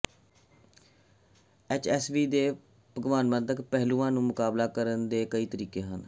HCV ਦੇ ਭਾਵਨਾਤਮਕ ਪਹਿਲੂਆਂ ਨਾਲ ਮੁਕਾਬਲਾ ਕਰਨ ਦੇ ਕਈ ਤਰੀਕੇ ਹਨ